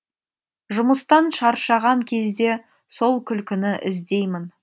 жұмыстан шаршаған кезде сол күлкіні іздеймін